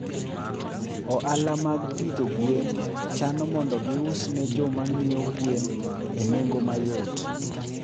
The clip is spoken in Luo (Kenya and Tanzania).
Ohala mag pidho gwen chano mondo gius ne jo ma ng'iewo gwen enengo mayot.